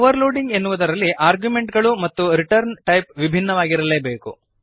overloading ಎನ್ನುವುದರಲ್ಲಿ ಆರ್ಗ್ಯುಮೆಂಟ್ಗಳು ಮತ್ತು ರಿಟರ್ನ್ ಟೈಪ್ ವಿಭಿನ್ನವಾಗಿರಲೇಬೇಕು